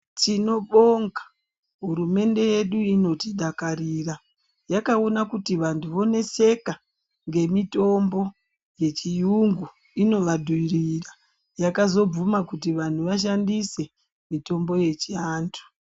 Tinobonga hurumende yedu inotidakarira. Yakaona kuti vantu voneseka ngemitombo yeChiyungu inovadhurira. Yakazobvuma kuti vanhu vashandise mitombo yechiantu.